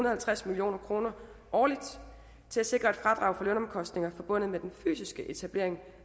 og halvtreds million kroner årligt til at sikre et fradrag på lønomkostninger forbundet med den fysiske etablering